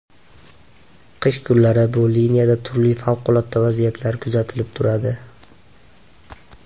Qish kunlari bu liniyada turli favqulodda vaziyatlar kuzatilib turadi.